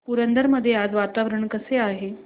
पुरंदर मध्ये आज वातावरण कसे आहे